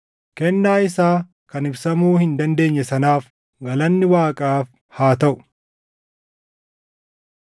Kennaa isaa kan ibsamuu hin dandeenye sanaaf galanni Waaqaaf haa taʼu!